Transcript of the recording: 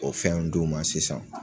O fɛn d'u ma sisan.